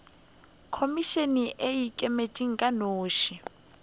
khomišene e ikemetše ka noši